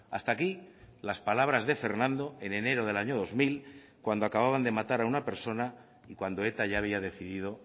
hasta aquí las palabras de fernando en enero del año dos mil cuando acababan de matar a una persona y cuando eta ya había decidido